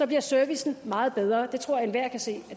bliver servicen meget bedre det tror jeg enhver kan se